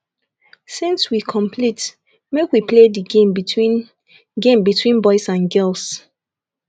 since we complete make we play the game between game between boys and girls